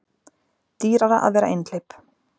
Dýrara að vera einhleyp